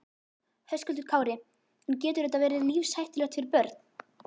Höskuldur Kári: En getur þetta verið lífshættulegt fyrir börn?